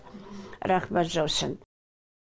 рахмәт жаусын